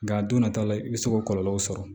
Nka a don nata la i bɛ se k'o kɔlɔlɔw sɔrɔ